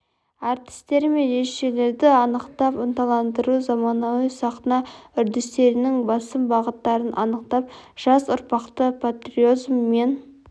әртістері мен режиссерлерді анықтап ынталандыру заманауи сахна үрдістерінің басым бағыттарын анықтап жас ұрпақты патриотизм мен